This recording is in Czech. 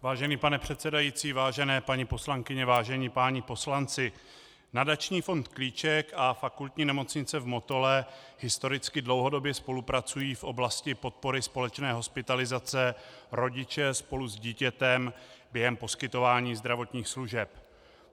Vážený pane předsedající, vážené paní poslankyně, vážení páni poslanci, nadační fond Klíček a Fakultní nemocnice v Motole historicky dlouhodobě spolupracují v oblasti podpory společné hospitalizace rodiče spolu s dítětem během poskytování zdravotních služeb.